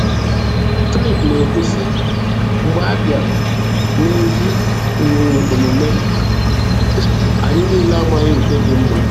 Trip na-ekwu sị, "Mgbe abịa na ezi um omume, anyị niile amaghị nke dị mma."